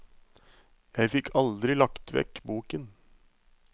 Jeg fikk aldri lagt vekk boken.